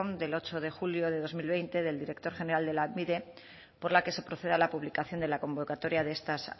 del ocho de julio de dos mil veinte del director general de lanbide por la que se procede a la publicación de la convocatoria de estas